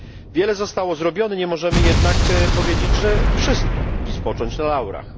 Wiele zostało zrobione, nie możemy jednak powiedzieć, że wszystko, i spocząć na laurach.